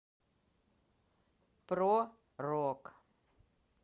про рок